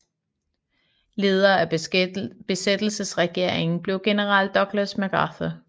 Leder af besættelsesregeringen blev general Douglas MacArthur